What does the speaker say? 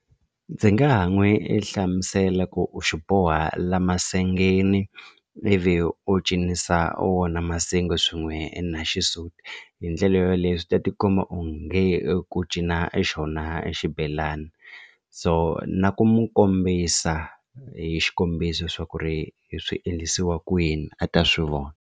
Ndzi nga ha n'wi i hlamusela ku u xi boha la masengeni ivi u cinisa wona masenge swin'we na xisuti hi ndlela yoleyo swi ta ti komba onge ku cina e xona xibelani so na ku n'wi kombisa hi xikombiso swa ku ri hi swi endlisiwa kwini a ta swi vona.